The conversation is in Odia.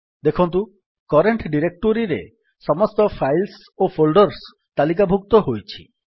ଦେଖନ୍ତୁ କରେଣ୍ଟ୍ ଡିରେକ୍ଟୋରୀରେ ସମସ୍ତ ଫାଇଲ୍ସ ଓ ଫୋଲ୍ଡର୍ସ ତାଲିକାଭୁକ୍ତ ହୋଇଛି